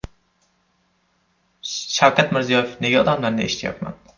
Shavkat Mirziyoyev: Nega odamlarni eshityapman?